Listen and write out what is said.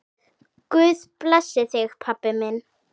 Guð blessi þig, pabbi minn.